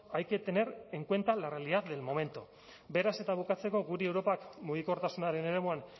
hay que tener en cuenta la realidad del momento beraz eta bukatzeko gure europak mugikortasunaren eremuan